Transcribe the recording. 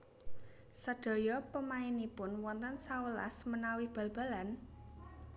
Sadaya pemainipun wonten sewelas menawi bal balan?